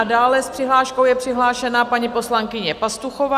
A dále s přihláškou je přihlášena paní poslankyně Pastuchová.